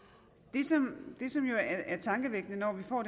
det som er tankevækkende når vi får